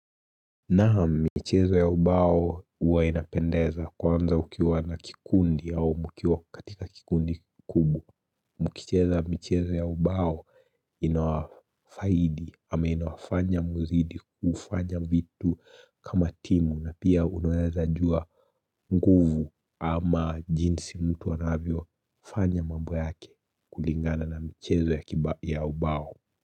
Na mchezo ya ubao huwa inapendeza kwanza ukiwa na kikundi yao mukiwa katika kikundi kubwa. Mkicheza mchezo ya ubao inawafaidi ama inawafanya mzidi kufanya vitu kama timu na pia unueleza jua nguvu ama jinsi mtu wanavyo fanya mambo yake kulingana na mchezo ya ubao.